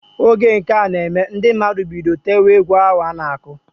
Oge nka na eme, ndi mmadụ bido tewe egwu ahu ana-akụ.